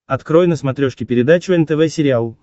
открой на смотрешке передачу нтв сериал